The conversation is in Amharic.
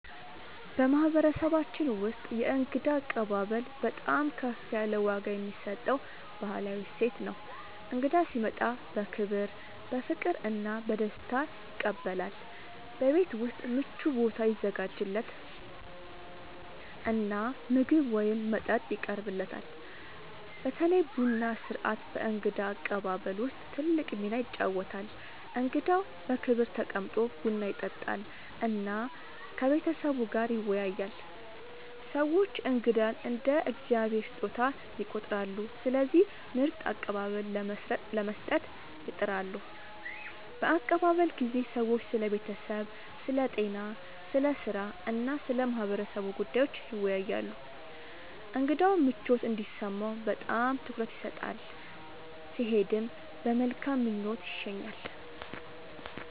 በማህበረሰባችን ውስጥ የእንግዳ አቀባበል በጣም ከፍ ያለ ዋጋ የሚሰጠው ባህላዊ እሴት ነው። እንግዳ ሲመጣ በክብር፣ በፍቅር እና በደስታ ይቀበላል፤ በቤት ውስጥ ምቹ ቦታ ይዘጋጃለት እና ምግብ ወይም መጠጥ ይቀርብለታል። በተለይ ቡና ሥርዓት በእንግዳ አቀባበል ውስጥ ትልቅ ሚና ይጫወታል፣ እንግዳው በክብር ተቀምጦ ቡና ይጠጣል እና ከቤተሰቡ ጋር ይወያያል። ሰዎች እንግዳን እንደ “የእግዚአብሔር ስጦታ” ይቆጥራሉ፣ ስለዚህ ምርጥ አቀባበል ለመስጠት ይጥራሉ። በአቀባበል ጊዜ ሰዎች ስለ ቤተሰብ፣ ስለ ጤና፣ ስለ ሥራ እና ስለ ማህበረሰቡ ጉዳዮች ይወያያሉ። እንግዳው ምቾት እንዲሰማው በጣም ትኩረት ይሰጣል፣ ሲሄድም በመልካም ምኞት ይሸኛል።